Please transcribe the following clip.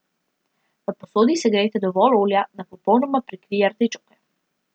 V posodi segrejte dovolj olja, da popolnoma prekrije artičoke.